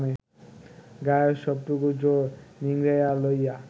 গায়ের সবটুকু জোর নিংড়াইয়া লইয়া